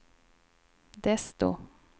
desto